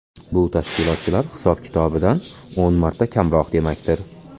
Bu tashkilotchilar hisob-kitobidan o‘n marta kamroq demakdir.